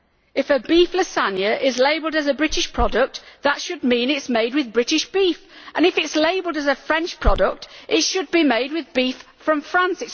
If a beef lasagne is labelled as a British product, that should mean it is made with British beef, and if it is labelled as a French product, it should be made with beef from France.